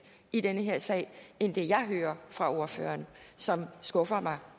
i den her sag end det jeg hører fra ordføreren som skuffer mig